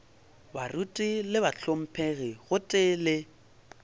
baruti le bahlomphegi gotee le